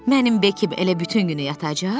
Mənim Bekim elə bütün günü yatacaq?